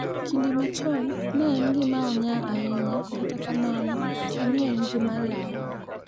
Kinde machon ne en gima onyaa ahinya kata kamano sani en gima lal.